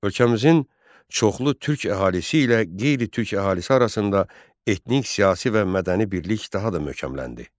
Ölkəmizin çoxlu türk əhalisi ilə qeyri-türk əhalisi arasında etnik, siyasi və mədəni birlik daha da möhkəmləndi.